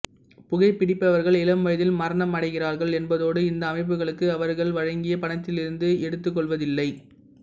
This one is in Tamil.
புகைபிடிப்பவர்கள் இளம் வயதில் மரணமடைகிறார்கள் என்பதோடு இந்த அமைப்புகளுக்கு அவர்கள் வழங்கிய பணத்திலிருந்து எடுத்துக்கொள்வதில்லை